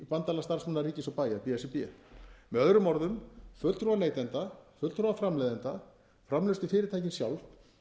bandalag starfsmanna ríkis og bæja b s r b með öðrum orðum fulltrúar neytenda fulltrúar framleiðenda framleiðslufyrirtækin sjálf